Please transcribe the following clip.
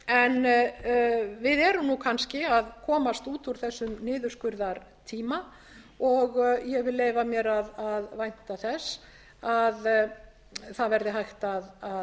en við erum kannski að komast út úr þessum niðurskurðartíma og ég leyfi mér að vænta þess að hægt verði hægt að